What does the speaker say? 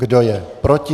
Kdo je proti?